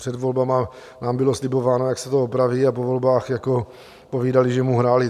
Před volbami nám bylo slibováno, jak se to opraví, a po volbách povídali, že mu hráli.